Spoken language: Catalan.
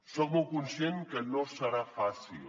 soc molt conscient que no serà fàcil